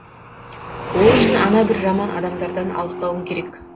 ол үшін ана бір жаман адамдардан алыстауың керек